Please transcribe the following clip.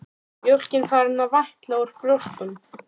Mjólkin farin að vætla úr brjóstunum.